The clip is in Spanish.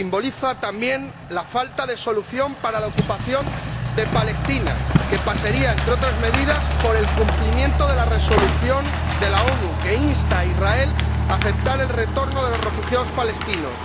Simboliza también la falta de solución para la ocupación de Palestina, que pasaría, entre otras medidas, por el cumplimiento de la Resolución de las Naciones Unidas que insta a Israel a aceptar el retorno de los refugiados palestinos.